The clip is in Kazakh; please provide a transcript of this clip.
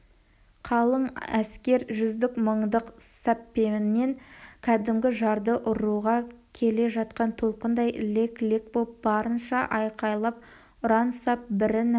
қалың әскер жүздік мыңдық саппенен кәдімгі жарды ұруға келе жатқан толқындай лек-лек боп барынша айқайлап ұран сап бірінің